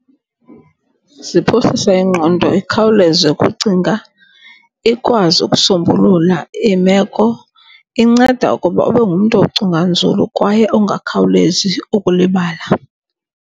Ziphosisa ingqondo ikhawuleze ukucinga, ikwazi ukusombulula imeko. Inceda ukuba ube ngumntu ocinga nzulu kwaye ongakhawulezi ukulibala.